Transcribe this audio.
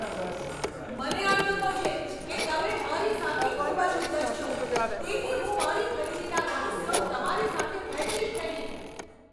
મને અણગમો છે કે તમે મારી સાથે ખૂબ જ ઉદ્ધત છો, તેથી હું મારી ખરીદીના રહસ્યો તમારી સાથે વહેંચીશ નહીં.